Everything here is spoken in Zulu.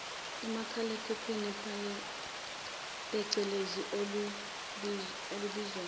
umakhalekhukhwini pecelezi olubizwa